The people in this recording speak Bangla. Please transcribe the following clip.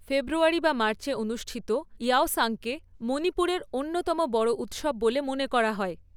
ফেব্রুয়ারী বা মার্চে অনুষ্ঠিত ইয়াওসাংকে, মণিপুরের অন্যতম বড় উৎসব বলে মনে করা হয়।